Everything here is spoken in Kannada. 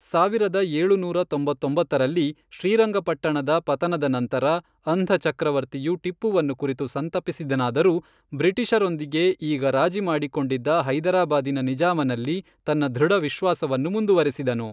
ಸಾವಿರದ ಏಳುನೂರ ತೊಂಬತ್ತೊಂಬತ್ತರಲ್ಲಿ, ಶ್ರೀರಂಗಪಟ್ಟಣದ ಪತನದ ನಂತರ, ಅಂಧ ಚಕ್ರವರ್ತಿಯು ಟಿಪ್ಪುವನ್ನು ಕುರಿತು ಸಂತಪಿಸಿದನಾದರೂ ಬ್ರಿಟಿಷರೊಂದಿಗೆ ಈಗ ರಾಜಿ ಮಾಡಿಕೊಂಡಿದ್ದ ಹೈದರಾಬಾದಿನ ನಿಜಾಮನಲ್ಲಿ ತನ್ನ ದೃಢವಿಶ್ವಾಸವನ್ನು ಮುಂದುವರೆಸಿದನು.